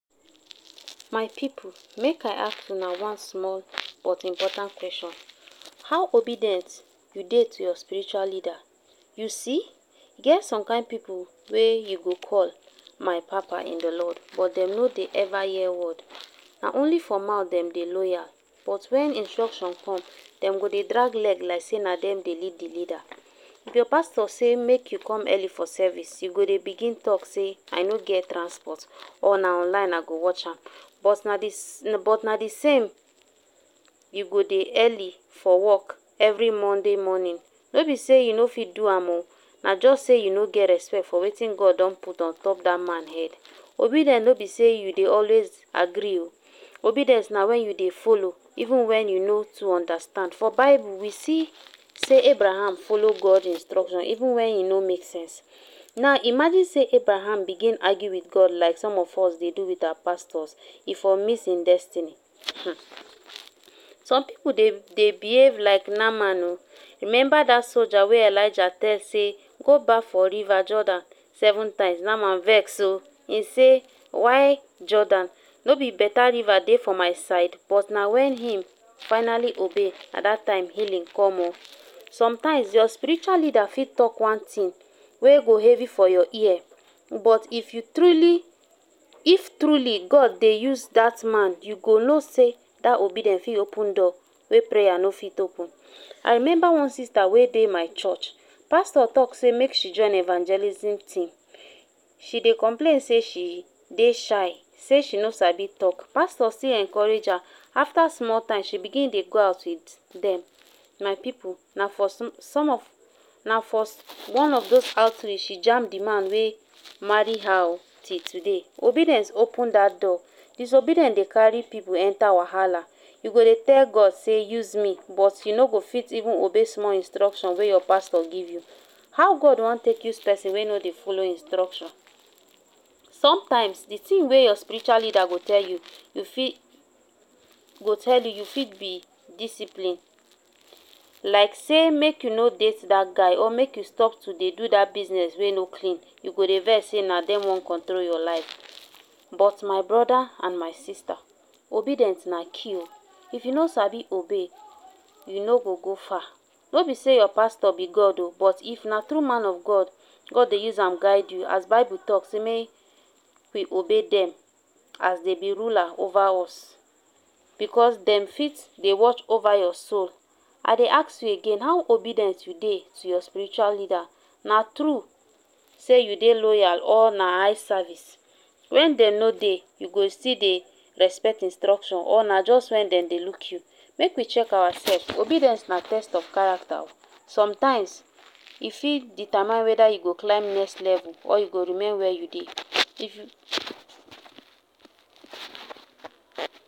My pipo, may I ask una one small but important question. How obedient you dey to your spiritual leader? You see, get some kind people wey you go call my papa in the Lord, but them know dey ever-hear word. Na only for mouth them dey loyal, but wen instruction come, dem go dey drag leg like say na dem dey lead the leader. If your pastor say make you come early for service, you go dey begin talk say I no get transport Or na online I go watch am. But na di na di same. You go dey early for work every Monday morning. No be say you no fit do am um. Na just say you no get respect for wetin God don put on top that man head. Obedien no be say you dey always agree um. Obedience na wen you dey follow even when you no too understand. For Bible we see say Abraham follow God instruction even when he no make sense. Now imagine say Abraham begin argue with God like some of us dey do with some of our pastors e for miss im destiny um Some people dey dey behave like Naaman um. Remember that sojar wey Elijah tell say Go baff for river Jordan seven times Naaman vex um im say Why Jordan No be beta river dey for my side But na wen im finally obey, at that time healing come um. Sometimes your spiritual leader fit tok one tin, wey go heavy for your ear. But if you truly If truly God dey use that man, you go know say that obedience fit open door wey prayer no fit open. I remember one sister wey dey my church. Pastor talk say make she join evangelism team. She dey complain say she dey shy, say she no sa be talk. Pastor still encourage her. After small time she begin dey go out wit dem. My people, na for sm some of, na for one of those outreach she jam di man wey marry her um till today. Obedience open dat door. Disobedien dey carry people enter wahala. You go dey tell God say use me, but you no go fit even obey small instruction wey your pastor give you. How God wan take use peson wey no dey follow instruction Sometimes di tin wey your spiritual leader go tell you, you fit go tell you you fit be discipline. Like say make you no date that guy or make you stop to dey do dat business wey no clean. You go dey vex say na dem wan control your life. But my brother and my sister, obedience na kill if you no sabi dey obey you no go go far. no be say your pastor be God um but if na true man of God, God dey use am guide you as Bible talk say make we obey dem as dey be ruler over us. Because dem fit they watch over your soul. I dey ask you again, how obedient you dey to your spiritual leader Na true say you dey loyal or na eye service. Wen dem no dey, you go still dey respect instruction or na just wen dem dey look you. Make we check ourself. Obedience na test of character um. Sometimes,e fit determine whether you go climb next level or you go remain where you dey if you